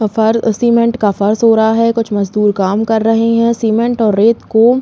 फर cement का फर्श हो रहा है। कुछ मजदूर काम कर रहे हैं। सीमेन्ट और रेत को --